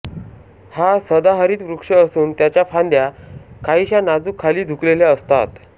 हा सदाहरित वृक्ष असून त्याच्या फांद्या काहीशा नाजूक खाली झुकलेल्या असतात